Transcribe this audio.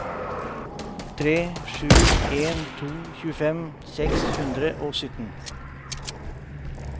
tre sju en to tjuefem seks hundre og sytten